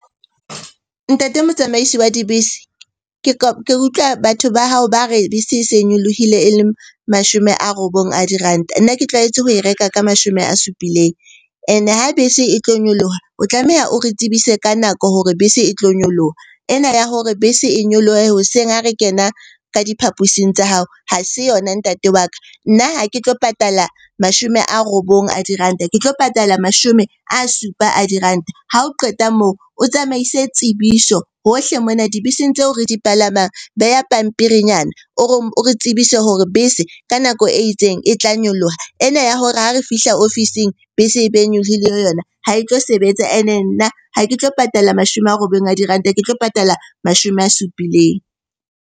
Ntate motsamaisi wa dibese ke utlwa batho ba hao ba re bese e se nyolohile e leng mashome a robong a diranta. Nna ke tlwaetse ho e reka ka mashome a supileng. Ene ha bese e tlo nyoloha, o tlameha o re tsebise ka nako hore bese e tlo nyoloha. Ena ya hore bese e nyolohe hoseng ha re kena ka diphaposing tsa hao ha se yona ntate wa ka. Nna ha ke tlo patala mashome a robong a diranta, ke tlo patala mashome a supa a diranta. Ha o qeta moo, o tsamaise tsebiso hohle mona dibeseng tseo re di palamang. Beha pampirinyana o re tsebise hore bese ka nako e itseng e tla nyoloha. Ena ya hore ha re fihla ofising bese e be e nyolohile yona ha e tlo sebetsa. Ene nna ha ke tlo patala mashome a robong a diranta, ke tlo patala mashome a supileng.